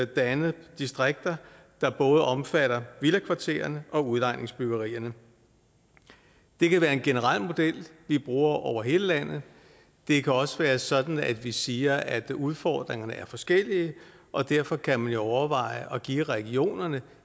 dannet distrikter der både omfatter villakvartererne og udlejningsbyggerierne det kan være en generel model vi bruger over hele landet det kan også være sådan at vi siger at udfordringerne er forskellige og derfor kan man jo overveje at give regionerne